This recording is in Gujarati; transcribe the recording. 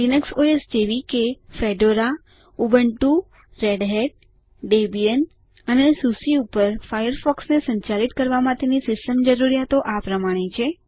લીનક્સ ઓએસ જેવી કે ફેડોરા ubuntuરેડ hatડેબિયન અને સુસે ઉપર ફાયરફોક્સને સંચાલિત કરવા માટેની સીસ્ટમ જરૂરીયાતો આ પ્રમાણે છે